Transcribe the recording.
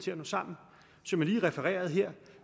jo